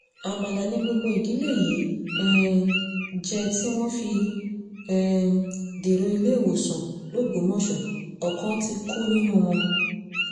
amala ni gbogbo ìdílé yìí um jẹ́ tí wọ́n fi um dèrò iléewòsàn lògbómọ̀ṣọ́ ọkàn ti kú nínú wọn